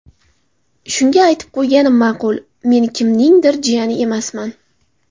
Shunga aytib qo‘yganim ma’qul: Men kimningdir jiyani emasman.